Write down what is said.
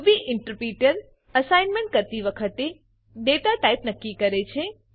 Ruby interpreter assignment કરતી વખતે data type નક્કી કરે છે